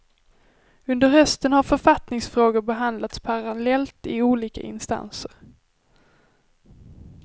Under hösten har författningsfrågor behandlats parallellt i olika instanser.